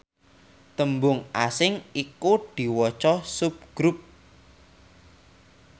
tembung asing iku diwaca subgrup